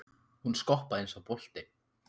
Hún skoppaði um eins og bolti.